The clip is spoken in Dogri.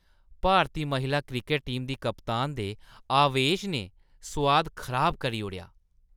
भारती महिला क्रिकट टीम दी कप्तान दे आवेश ने सोआद खराब करी ओड़ेआ।